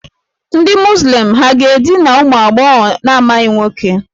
Ndị Muzlim ha ga-edina ụmụ agbọghọ na-amaghị nwoke?